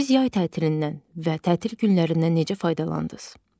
Siz yay tətilindən və tətil günlərindən necə faydalandınız?